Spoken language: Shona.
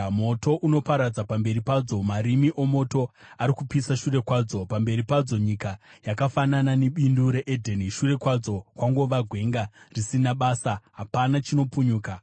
Moto unoparadza pamberi padzo, marimi omoto ari kupisa shure kwadzo. Pamberi padzo, nyika yakafanana nebindu reEdheni, shure kwadzo kwangova gwenga risina basa, hapana chinopunyuka.